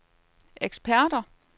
eksperter